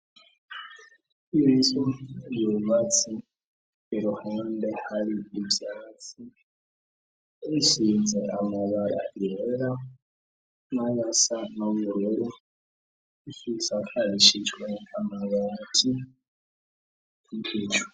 Inzu yubatse, iruhande hari ivyatsi isize amabara yera nayasa n'ubururu isakarishijwe amabati kubicu.